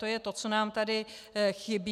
To je to, co nám tady chybí.